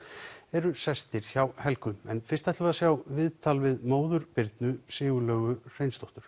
eru sestir hjá Helgu en fyrst ætlum við að sjá viðtal við móður Birnu Sigurlaugu Hreinsdóttur